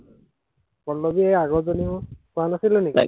পল্লৱী এৰ আগৰজনী মোৰ, কোৱা নাছিলো নেকি?